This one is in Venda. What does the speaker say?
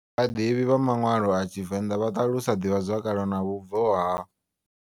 Vhaḓivhi vha maṅwalo a TshiVenḓa vha ṱalusa ḓivhazwakale na vhubvo ha.